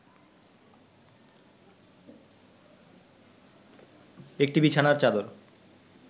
একটি বিছানার চাদর